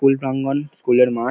School প্রাঙ্গন। School -এর মাঠ ।